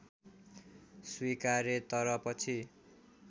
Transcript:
स्वीकारे तर पछि